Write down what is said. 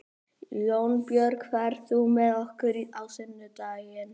Jónbjörg, ferð þú með okkur á sunnudaginn?